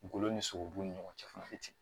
Golo ni sogobu ni ɲɔgɔn cɛ fana bi ten